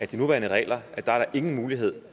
de nuværende regler er der ingen mulighed